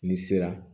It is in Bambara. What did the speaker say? N'i sera